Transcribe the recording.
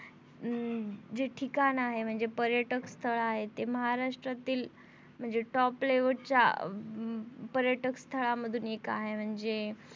अं जे ठिकाण आहे म्हणजे पर्यटक स्थळ आहे ते महाराष्ट्रातील म्हणजे top level च्या पर्यटक स्थळामधून एक आहे म्हणजे